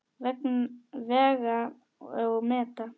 Vega og meta.